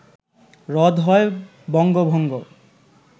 রদ হয় বঙ্গভঙ্গ